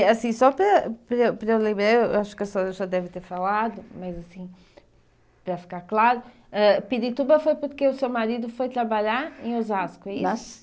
E, assim, só para para eu para eu lembrar, acho que a senhora já deve ter falado, mas assim, para ficar claro, ãh Pirituba foi porque o seu marido foi trabalhar em Osasco, é isso? Nas